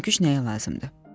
Dəvəyə hörgüç nəyə lazımdır?